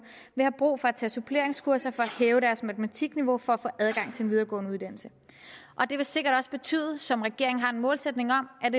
have brug for at tage suppleringskurser for at hæve deres matematikniveau for at få adgang til en videregående uddannelse det vil sikkert også betyde som regeringen har en målsætning om at